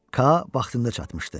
Kaa vaxtında çatmışdı.